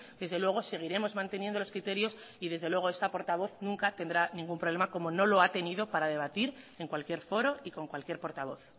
desde luego seguiremos manteniendo los criterios y desde luego esta portavoz nunca tendrá ningún problema como no lo ha tenido para debatir en cualquier foro y con cualquier portavoz